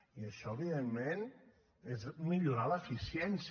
i això evidentment és millorar l’eficiència